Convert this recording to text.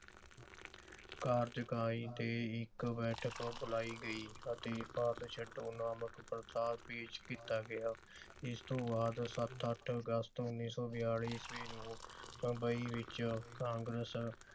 ਕਾਰਜਕਾਰੀ ਦੇ ਇਕ ਬੈਠਕ ਬੁਲਾਈ ਗਈ ਅਤੇ ਭਾਰਤ ਛੱਡੋ ਨਾਮਕ ਮਤਾ ਪੇਸ਼ ਕੀਤਾ ਗਿਆ। ਇਸ ਤੋਂ ਬਾਅਦ ਸੱਤ ਅੱਠ ਅਗਸਤ ਉਨੀ ਸੌ ਬਿੱਲੀ ਈਸਵੀ ਨੂੰ ਬੰਬਈ ਵਿਚ ਕਾਂਗਰਸ